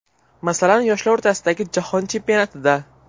Masalan, yoshlar o‘rtasidagi Jahon Chempionatida.